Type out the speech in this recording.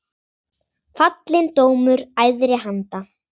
Fallinn dómur æðri anda.